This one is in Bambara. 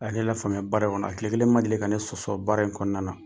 A ye ne lafaamuya baara kɔnɔn a tile kelen ma deli ka ne sɔsɔ baara in kɔnɔna na.